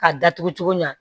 K'a datugu cogo min na